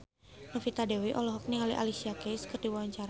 Novita Dewi olohok ningali Alicia Keys keur diwawancara